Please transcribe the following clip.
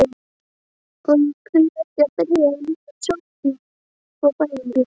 Og því ekki að byrja á sjálfum grunninum: fæðingunni?